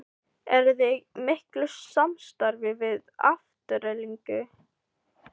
Eruði í miklu samstarfi við Aftureldingu?